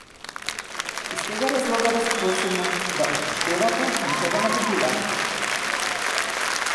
Iz tega razloga vas prosimo, da upoštevate njihova navodila!